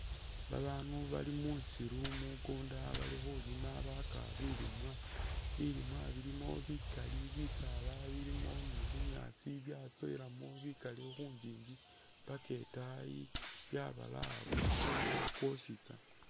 Babaanu bali musiiru munkunda bali khulima baka bilimwa, bilimwa bilimo bikaali bisaala bilimo ni'bunyaasi byatsowelamo bikaali khunjinji paka itaayi byabalaya kumunkunda kwosi tsana